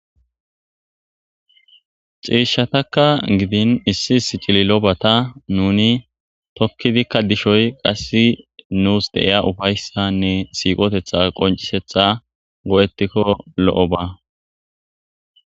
ciishatakka gidin issi isicili lobata nuni tokkidikka dishoy qassi nuus deiya ufayssanne siiqotetha qoncisetha go7etikko lo7o ba